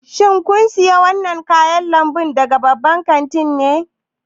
Shin kun sayi wannan kayan lambu daga babban kanti ne?